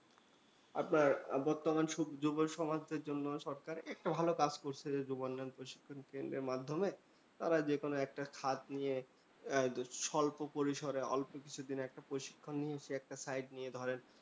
আপনার বর্তমান সব যুব সমাজদের জন্য সরকার একটা ভালো কাজ করছে যুব উন্নয়ন প্রশিক্ষণ কেন্দ্রের মাধ্যমে। তারা যেকোনো একটা খাত নিয়ে আহ স্বল্প পরিসরে অল্পকিছুদিন একটা প্রশিক্ষণ নিয়ে সে একটা site নিয়ে ধরেন